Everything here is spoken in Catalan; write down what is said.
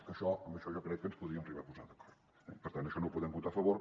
que això amb això jo crec que ens podríem arribar a posar d’acord eh per tant això no ho podem votar a favor